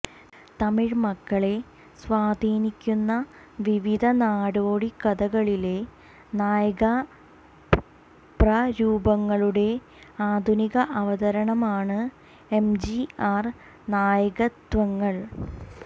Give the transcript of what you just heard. തമിഴ് മക്കളെ സ്വാധീനിക്കുന്ന വിവിധ നാടോടിക്കഥകളിലെ നായകപ്രരൂപങ്ങളുടെ ആധുനിക അവതാരമാണ് എം ജി ആർ നായകത്വങ്ങൾ